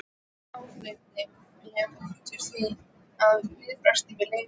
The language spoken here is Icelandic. Áfengi veldur því að viðbragðstíminn lengist.